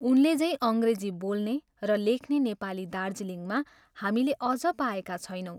उनले झैँ अङ्ग्रेजी बोल्ने र लेख्ने नेपाली दार्जिलिङमा हामीले अझ पाएका छैनौँ।